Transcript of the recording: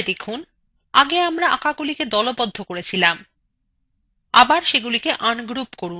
মনে করে দেখুন আগে আমরা আঁকাগুলিকে দলবদ্ধ করেছিলাম আবার সেগুলিকে ungroup করুন